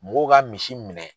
Mɔgɔw ka misi minɛ.